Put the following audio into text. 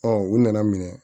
u nana minɛ